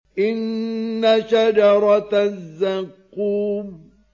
إِنَّ شَجَرَتَ الزَّقُّومِ